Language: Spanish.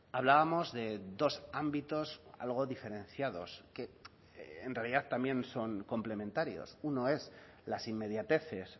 hablábamos de dos ámbitos algo diferenciados que en realidad también son complementarios uno es las inmediateces